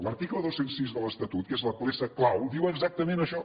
l’article dos cents i sis de l’estatut que és la peça clau diu exactament això